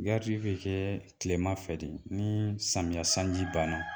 be kɛɛ tilema fɛ de nii samiya sanji banna.